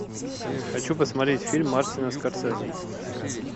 хочу посмотреть фильм мартина скорсезе